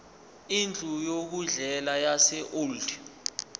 indlu yokudlela yaseold